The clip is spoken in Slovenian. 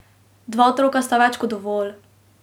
Dva otroka sta več kot dovolj!